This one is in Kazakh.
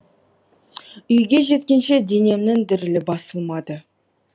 үйге жеткенше денемнің дірілі басылмады